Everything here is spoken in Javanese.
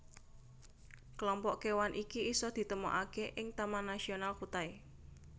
Kelompok kewan iki isa ditemokake ing Taman Nasional Kutai